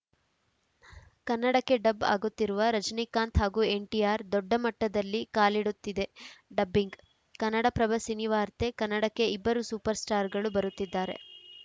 ಕನ್ನಡಕ್ಕೆ ಡಬ್‌ ಆಗುತ್ತಿರುವ ರಜನಿಕಾಂತ್‌ ಹಾಗೂ ಎನ್‌ಟಿಆರ್‌ ದೊಡ್ಡ ಮಟ್ಟದಲ್ಲಿ ಕಾಲಿಡುತ್ತಿದೆ ಡಬ್ಬಿಂಗ್‌ ಕನ್ನಡಪ್ರಭ ಸಿನಿವಾರ್ತೆ ಕನ್ನಡಕ್ಕೆ ಇಬ್ಬರು ಸೂಪರ್‌ ಸ್ಟಾರ್‌ಗಳು ಬರುತ್ತಿದ್ದಾರೆ